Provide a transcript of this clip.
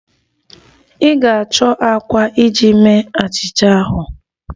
Ị ga-achọ àkwá iji mee achịcha ahụ.